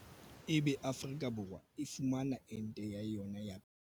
Ebe Afrika Borwa e fumana ente ya yona ya pele hotswa kae?